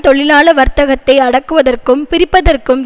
தொழிலாள வர்த்தகத்தை அடக்குவதற்கும் பிரிப்பதற்கும்